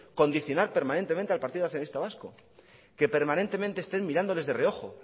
condicionar permanentemente al partido nacionalista vasco que permanentemente estén mirándoles de reojo